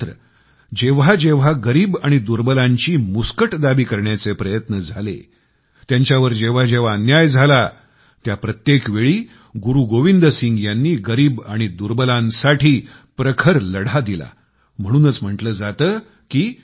मात्र जेव्हा जेव्हा गरीब आणि दुर्बलांची मुस्कटदाबी करण्याचे प्रयत्न झाले त्यांच्यावर जेव्हा जेव्हा अन्याय झाला त्या प्रत्येक वेळी गुरुगोविंद सिंग यांनी गरीब आणि दुर्बलांसाठी प्रखर लढा दिला आणि म्हणूनच म्हटले जाते की